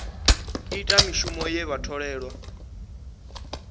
ita mishumo ye vha tholelwa